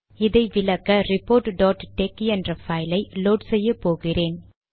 இதை விளக்க report tex என்ற பைல் ஐ லோட் செய்ய போகிறேன்